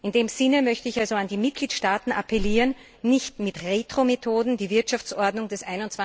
In dem Sinne möchte ich an die Mitgliedstaaten appellieren, nicht mit Retro Methoden die Wirtschaftsordnung des